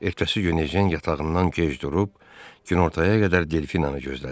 Ertəsi gün Ejen yatağından gec durub, günortaya qədər Delfinanı gözlədi.